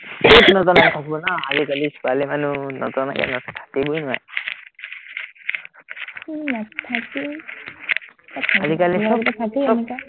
আজিকালি ছোৱালী মানুহ নজনাকে না থাকিবই নোৱাৰে